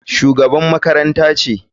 Shugabar makarantar ce.